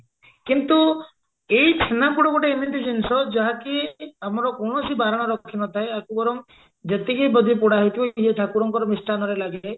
କିନ୍ତୁ ଏଇ ଛେନାପୋଡ ଗୋଟେ ଏମିତି ଜିନିଷ ଯାହାକି ଆମର କୌଣସି ବାରଣ ରଖିନଥାଏ ଆକୁ ବରଂ ଯେତିକି ଯଦି ପୋଡା ହେଇଥିବ ଇଏ ଠାକୁରଙ୍କ ମିଷ୍ଠାନ ରେ ଲାଗେ